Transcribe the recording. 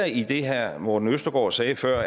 i det herre morten østergaard sagde før